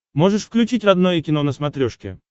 можешь включить родное кино на смотрешке